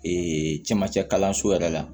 camancɛ kalanso yɛrɛ la